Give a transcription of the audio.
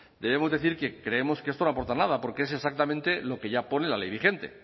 debemos decir que creemos que esto no aporta nada porque es exactamente lo que ya pone la ley vigente